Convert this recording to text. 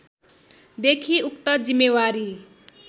देखि उक्त जिम्मेवारी